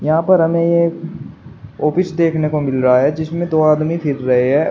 यहां पर हमें एक ऑफिस देखने को मिल रहा है जिसमें दो आदमी फिर रहे है।